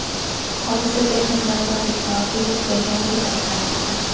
Hodisa texnik nosozlik sababli yuz berganligi ta’kidlanmoqda.